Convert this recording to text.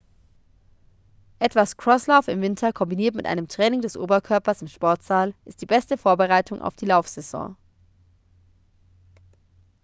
etwas crosslauf im winter kombiniert mit einem training des oberkörpers im sportsaal ist die beste vorbereitung auf die laufsaison